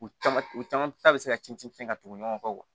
U caman u caman ta bɛ se ka ci ci fɛn tugu ɲɔgɔn kɔ